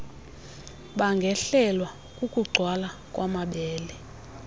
bangehlelwa kukugcwala kwamabele